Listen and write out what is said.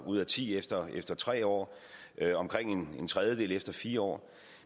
ud af ti efter efter tre år omkring en tredjedel efter fire år